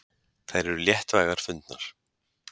Þær eru léttvægar fundnar.